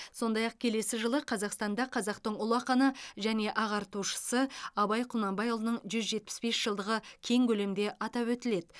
сондай ақ келесі жылы қазақстанда қазақтың ұлы ақыны және ағартушысы абай құнанбайұлының жүз жетпіс бес жылдығы кең көлемде атап өтіледі